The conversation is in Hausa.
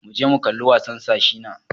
Muje mu kalla wasan Sir Shina.